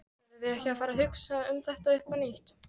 Verðum við ekki að hugsa þetta upp á nýtt?